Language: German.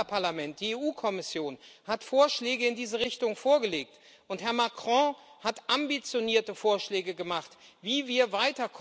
Das Europäische Parlament, die EU Kommission hat Vorschläge in diese Richtung vorgelegt, und Herr Macron hat ambitionierte Vorschläge gemacht, wie wir